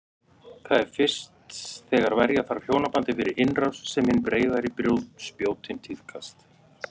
Það er fyrst þegar verja þarf hjónabandið fyrir innrás sem hin breiðari spjótin tíðkast.